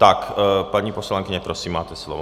Tak paní poslankyně, prosím, máte slovo.